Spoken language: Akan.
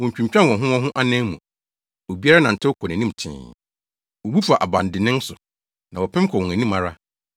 Wontwintwan wɔn ho wɔn ho anan mu; obiara nantew kɔ nʼanim tee. Wobu fa abandennen so, na wɔpem kɔ wɔn anim ara.